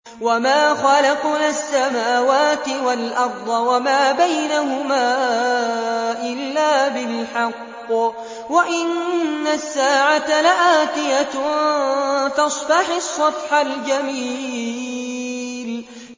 وَمَا خَلَقْنَا السَّمَاوَاتِ وَالْأَرْضَ وَمَا بَيْنَهُمَا إِلَّا بِالْحَقِّ ۗ وَإِنَّ السَّاعَةَ لَآتِيَةٌ ۖ فَاصْفَحِ الصَّفْحَ الْجَمِيلَ